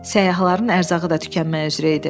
Səyyahların ərzağı da tükənməyə üzrə idi.